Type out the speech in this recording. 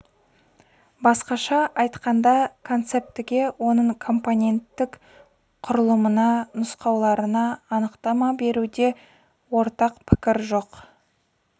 басқаша айтқанда концептіге оның компоненттік құрылымына нұсқаларына анықтама беруде ортақ пікір жоқ